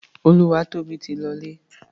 Olúwatóbi ti lọlé.